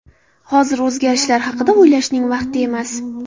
Hozir o‘zgarishlar haqida o‘ylashning vaqti emas.